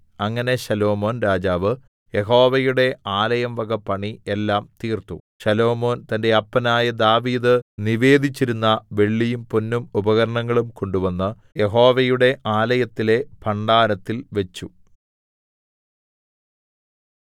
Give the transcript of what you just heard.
അങ്ങനെ ശലോമോൻ രാജാവ് യഹോവയുടെ ആലയംവക പണി എല്ലാം തീർത്തു ശലോമോൻ തന്റെ അപ്പനായ ദാവീദ് നിവേദിച്ചിരുന്ന വെള്ളിയും പൊന്നും ഉപകരണങ്ങളും കൊണ്ടുവന്ന് യഹോവയുടെ ആലയത്തിലെ ഭണ്ഡാരത്തിൽ വച്ചു